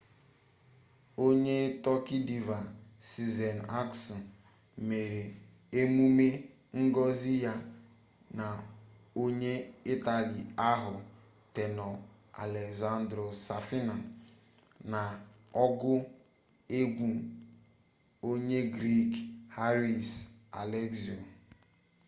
onye tọki diva sezen aksu mere emume ngosi ya na onye itali ahụ tenor alessandro safina na ọgụ egwu onye griik haris alexiou